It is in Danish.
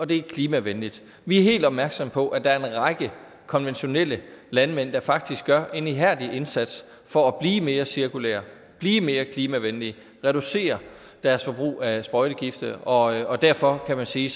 det er klimavenligt vi er helt opmærksomme på at der er en række konventionelle landmænd der faktisk gør en ihærdig indsats for at blive mere cirkulære og blive mere klimavenlige og reducere deres forbrug af sprøjtegifte og derfor kan man sige